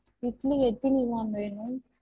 இட்லி எத்தினி ma'am வேணும்?